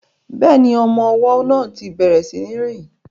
Bẹ́ẹ̀ni, ọmọ ọwọ́ náà ti bẹ̀rẹ̀ sí ní rìn